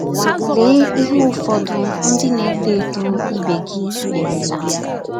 Lee ihe ụfọdụ ndị na na - etọ etọ ibe gị merela.